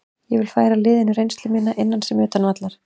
Ég vil færa liðinu reynslu mína, innan sem utan vallar.